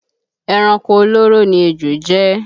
Ẹranko olóró ni ejò jẹ́